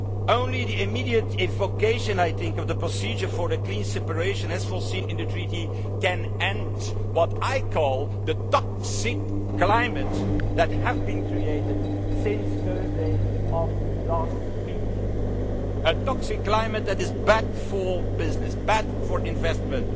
Only the immediate invocation of the procedure for a clean separation, as foreseen in the Treaty, can end what I call the toxic climate that has been created since Thursday of last week, a toxic climate that is bad for business, bad for investment,